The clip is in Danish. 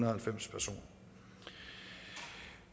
og halvfems personer